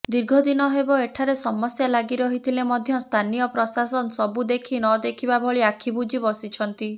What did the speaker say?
ଦୀର୍ଘଦିନ ହେବ ଏଠାରେ ସମସ୍ୟା ଲାଗିରହିଥିଲେ ମଧ୍ୟ ସ୍ଥାନୀୟ ପ୍ରଶାସନ ସବୁ ଦେଖି ନଦେଖିବା ଭଳି ଆଖିବୁଜି ବସିଛନ୍ତି